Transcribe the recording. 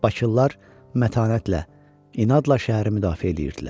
Bakılılar mətanətlə, inadla şəhəri müdafiə eləyirdilər.